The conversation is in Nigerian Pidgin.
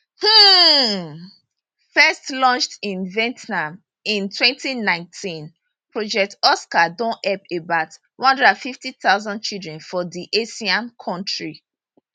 um first launched in vietnam in 2019 project oscar don help about 150000 children for di asian country